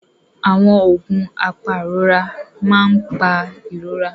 Àwọn oògùn apàrora máa ń pa ìrora.